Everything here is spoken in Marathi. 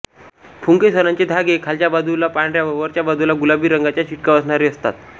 पुंकेसराचे धागे खालच्या बाजूला पांढऱ्या व वरच्या बाजूला गुलाबी रंगाचा शिडकावा असणारे असतात